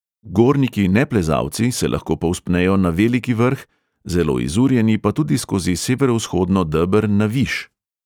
Gorniki-neplezalci se lahko povzpnejo na veliki vrh, zelo izurjeni pa tudi skozi severovzhodno deber na viš.